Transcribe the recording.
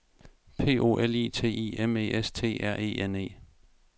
P O L I T I M E S T R E N E